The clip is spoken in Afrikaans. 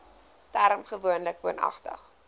term gewoonlik woonagtig